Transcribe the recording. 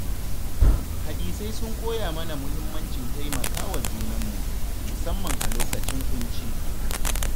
Hadisai sun koya mana muhimmancin taimaka wa junanmu, musamman a lokacin ƙunci.